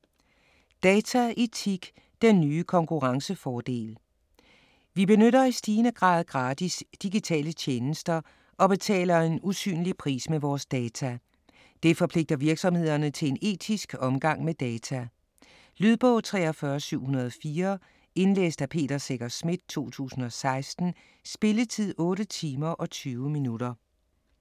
Dataetik - den nye konkurrencefordel Vi benytter i stigende grad gratis digitale tjenester og betaler en usynlig pris med vores data. Det forpligter virksomhederne til en etisk omgang med data. Lydbog 43704 Indlæst af Peter Secher Schmidt, 2016. Spilletid: 8 timer, 20 minutter.